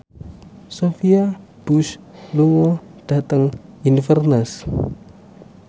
Sophia Bush lunga dhateng Inverness